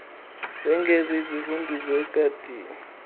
wengeze izivundoso egadini